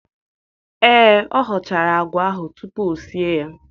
Ee, ọ họchara àgwà ahụ tupu o sie ya.